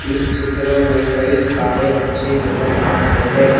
इस चित्र में कई सारे बच्चे नजर आ रहे हैं।